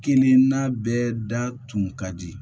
Kelenna bɛɛ da tun ka di